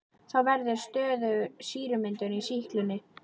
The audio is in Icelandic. Þá verður stöðug sýrumyndun í sýklunni.